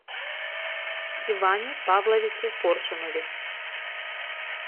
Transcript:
иване павловиче коршунове